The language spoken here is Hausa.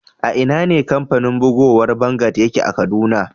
A'ina ne kamfanin bugowan vanguard yake a Kaduna?